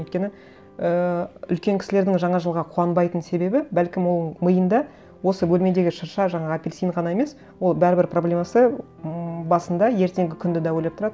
өйткені ііі үлкен кісілердің жаңа жылға қуанбайтын себебі бәлкім ол миында осы бөлмедегі шырша жаңа апельсин ғана емес ол бәрібір проблемасы ммм басында ертеңгі күнді де ойлап тұрады